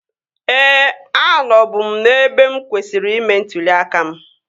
Ee, anọ bu m n'ebe mụ kwesịrị ime ntụli aka m